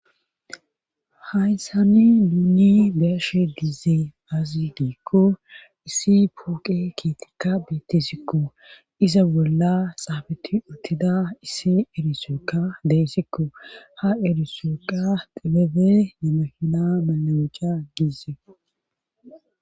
hayssani duuni deashe dizee azi diikko issi pooqe kiitikka beettisikko iza bolla xaafeti uttida issi erisookka deyssikko ha erisookqa dilebe nemahina malawuca gizee